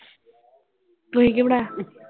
ਤੁਸੀ ਕੀ ਬਣਾਇਆ?